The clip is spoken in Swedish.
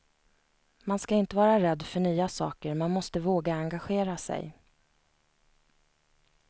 Man ska inte vara rädd för nya saker, man måste våga engagera sig.